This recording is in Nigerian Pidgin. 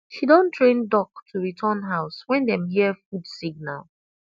she don train duck to return house when dem hear food signal